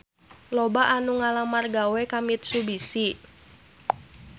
Loba anu ngalamar gawe ka Mitsubishi